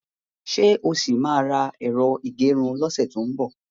Ṣé o ṣì máa ra ẹ̀rọ ìgẹrun lọ́sẹ̀ tó ń bọ̀?